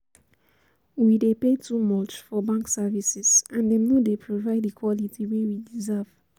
We dey pay too much for bank services and dem no dey provide di quality wey we deserve.